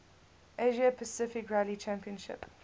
asia pacific rally championship